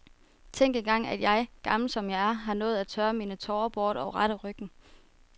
Tænk engang at jeg, gammel som jeg er, har nået at tørre mine tårer bort og rette ryggen.